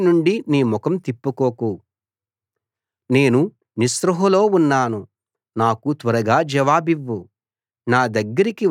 నీ సేవకుడి నుండి నీ ముఖం తిప్పుకోకు నేను నిస్పృహలో ఉన్నాను నాకు త్వరగా జవాబివ్వు